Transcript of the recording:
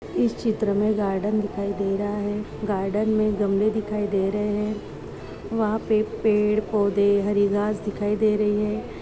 इस चित्र में गार्डन दिखाई दे रहा है गार्डन में गमले दिखाई दे रहे है वहाँ पे पेड़ पौधे हरी घास दिखाई दे रही है।